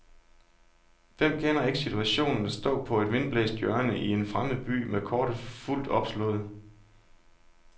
Hvem kender ikke situationen at stå på et vindblæst hjørne i en fremmed by med kortet fuldt opslået.